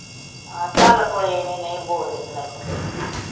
ਆਹ ਚੱਲ ਕੋਈ ਨੀ ਨਹੀ ਬੋਲਦੇ ਤੇ ਨਹੀ ਸੀ